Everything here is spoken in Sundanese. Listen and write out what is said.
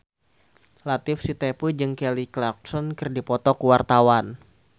Latief Sitepu jeung Kelly Clarkson keur dipoto ku wartawan